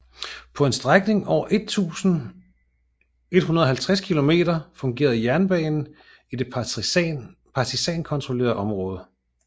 På en strækning af over 150 km fungerede jernbanen i det partisankontrollerede område